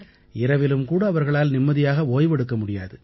இரவிலும் கூட அவர்களால் நிம்மதியாக ஓய்வெடுக்க முடியாது